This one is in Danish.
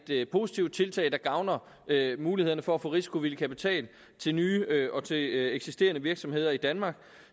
et positivt tiltag der gavner mulighederne for at få risikovillig kapital til nye og til eksisterende virksomheder i danmark